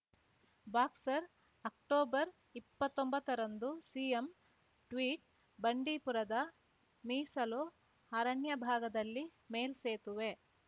boxer October ಇಪ್ಪತ್ತೊಂಬತ್ತರಂದು CM tweet ಬಂಡೀಪುರದ ಮೀಸಲು ಅರಣ್ಯ ಭಾಗದಲ್ಲಿ ಮೇಲ್ಸೇತುವೆ